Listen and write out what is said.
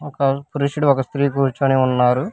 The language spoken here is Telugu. ఒక పురుషుడు ఒక స్త్రీ కూర్చొని ఉన్నారు